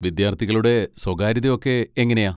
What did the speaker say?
വിദ്യാർത്ഥികളുടെ സ്വകാര്യത ഒക്കെ എങ്ങനെയാ?